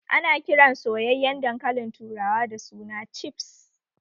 Ana kiran soyyayen dankalin turawa da suna cifs